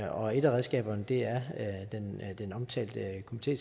og et af redskaberne er den omtalte komité